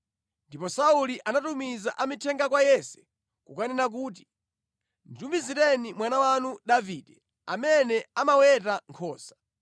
Ndipo Sauli anatumiza amithenga kwa Yese kukanena kuti, “Nditumizireni mwana wanu Davide, amene amaweta nkhosa.”